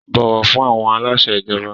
Bọ̀wọ̀ fún àwọn aláṣẹ ìjọba!